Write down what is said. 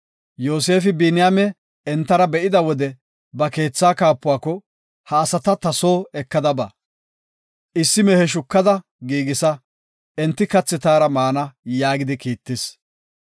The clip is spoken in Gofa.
Yoosefi Biniyaame entara be7ida wode ba keetha kaapuwako, “Ha asata ta soo ekada ba. Issi mehe shukada giigisa; enti kathi taara maana” yaagidi kiittis.